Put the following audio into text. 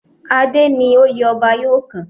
Adé ni oyè ọba yóò kàn.